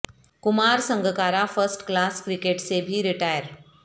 کما Sangakkara first class cricket سے بھی ریٹائر